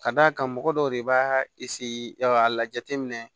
Ka d'a kan mɔgɔ dɔw de b'a a jateminɛ